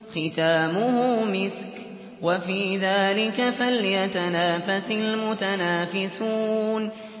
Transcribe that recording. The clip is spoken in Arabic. خِتَامُهُ مِسْكٌ ۚ وَفِي ذَٰلِكَ فَلْيَتَنَافَسِ الْمُتَنَافِسُونَ